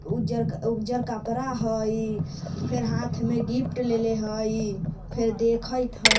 उजर कपड़ा हई फिर हाँथ में गिफ्ट लेले हई फिर देखथ हई।